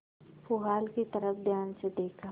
पुआल की तरफ ध्यान से देखा